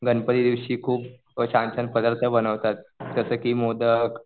गणपती दिवशी खूप छान छान पदार्थ बनवतात. जसं की मोदक